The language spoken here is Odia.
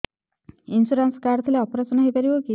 ଇନ୍ସୁରାନ୍ସ କାର୍ଡ ଥିଲେ ଅପେରସନ ହେଇପାରିବ କି